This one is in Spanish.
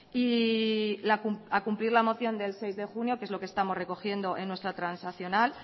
y a cumplir la moción del seis de junio que es lo que estamos recogiendo en nuestra transaccional